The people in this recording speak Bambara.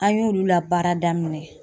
An y'olu labaara daminɛ